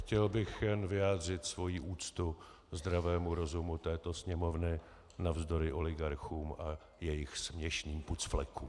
Chtěl bych jen vyjádřit svoji úctu zdravému rozumu této Sněmovny navzdory oligarchům a jejich směšným pucflekům.